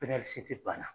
banna